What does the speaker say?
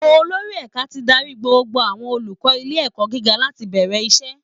Olórí ẹ̀ka ti darí gbogbo àwọn olùkọ́ ilé ẹ̀kọ́ gíga láti bẹ̀rẹ̀ iṣẹ́